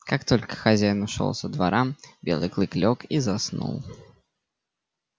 как только хозяин ушёл со двора белый клык лёг и заснул